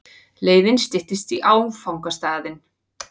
Leiðin styttist í áfangastaðinn.